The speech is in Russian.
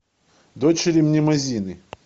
дочери мнемозины